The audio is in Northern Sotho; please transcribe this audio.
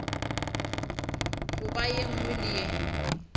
goba ye nngwe le ye